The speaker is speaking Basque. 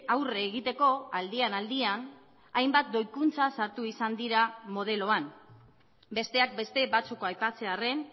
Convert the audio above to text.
aurre egiteko aldian aldian hainbat doikuntza sartu izan dira modeloan besteak beste batzuk aipatzearren